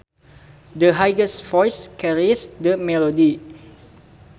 The highest voice carries the melody